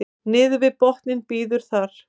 niður við botninn bíður þar